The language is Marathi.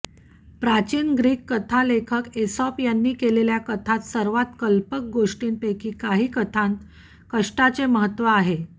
प्राचीन ग्रीक कथालेखक एसॉप यांनी केलेल्या कथांत सर्वात कल्पक गोष्टींपैकी काही कथांत कष्टाचे महत्त्व आहे